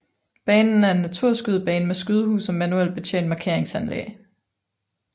Banen er en naturskydebane med skydehus og manuelt betjent markeringsanlæg